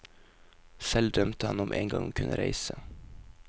Selv drømte han om engang å kunne reise.